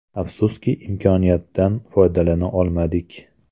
Afsuski, imkoniyatdan foydalana olmadik.